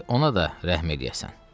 Gərək ona da rəhm eləyəsən.